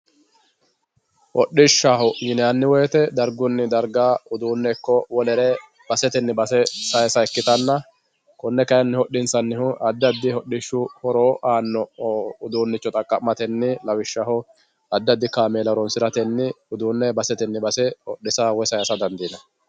Hodhishshaho yinanni woyte dargunni dargani darga uduune ikko wolere baseteni base saysa ikkittanna kone kayinni hodhisanihu addi addi hodhishshu horo aano uduuncho xaqamatenni lawishshaho addi addi kaameela horonsirateni uduune baseteni base hodhisa woyi saysa dandiinanni.